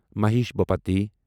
Mahesh Bhupathi